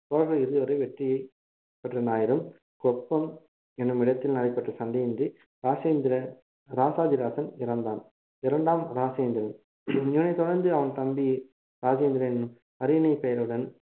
சோழர்கள் இறுதிவரை வெற்றியை பெற்றனராயினும் கொப்பம் என்னுமிடத்தில் நடைபெற்ற சண்டையொன்றில் ராஜேந்திர ராசாதி ராசன் இறந்தான் இரண்டாம் ராஜேந்திரன் இவனைத் தொடர்ந்து அவன் தம்பி ராஜேந்திரன் அரியணை பெயருடன்